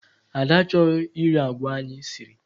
Ada achọghị iri agwa anyị siri.